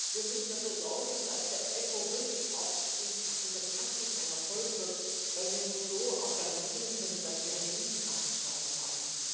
Wir müssen dafür sorgen, dass die EPPO wirklich auch in der Praxis ein Erfolg wird, weil wir nur so auch garantieren können, dass wir eine gute Sache geschaffen haben.